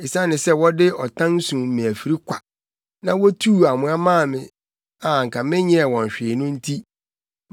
Esiane sɛ wɔde ɔtan sum me afiri kwa, na wotuu amoa maa me a menyɛɛ wɔn hwee no nti